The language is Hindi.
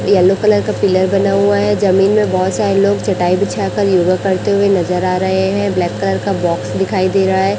येलो कलर का पिलर बना हुआ है जमीन में बहोत सारे लोग चटाई बिछाकर योगा करते हुए नजर आ रहे हैं ब्लैक कलर का बॉक्स दिखाई दे रहा है।